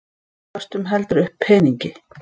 Köstum heldur upp peningi.